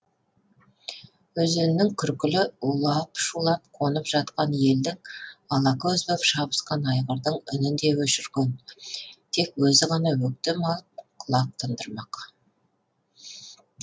өзеннің күркілі улап шулап қонып жатқан елдің алакөз боп шабысқан айғырдың үнін де өшірген тек өзі ғана өктем алып құлақ тұндырмақ